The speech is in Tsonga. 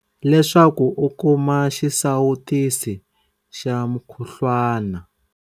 Leswaku u kuma xisawutisi xa mukhuhlwana.